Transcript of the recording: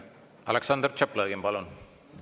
Aleksandr Tšaplõgin, palun!